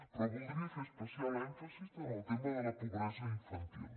però voldria fer especial èmfasi en el tema de la pobresa infantil